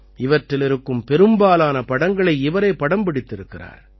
இவற்றிலிருக்கும் பெரும்பாலான படங்களை இவரே படம் பிடித்திருக்கிறார்